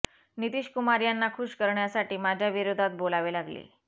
नितीश कुमार यांना खूश करण्यासाठी माझ्या विरोधात बोलावे लागले